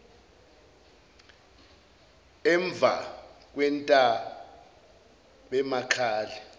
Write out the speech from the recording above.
emvakwentabemakale